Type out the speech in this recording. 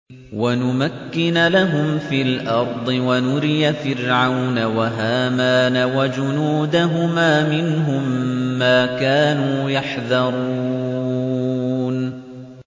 وَنُمَكِّنَ لَهُمْ فِي الْأَرْضِ وَنُرِيَ فِرْعَوْنَ وَهَامَانَ وَجُنُودَهُمَا مِنْهُم مَّا كَانُوا يَحْذَرُونَ